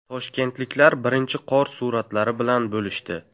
Toshkentliklar birinchi qor suratlari bilan bo‘lishdi.